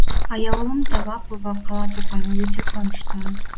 аяулым талапова қала тұрғыны өте қуаныштымын